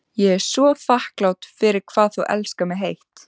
Ég er svo þakklát fyrir hvað þú elskar mig heitt.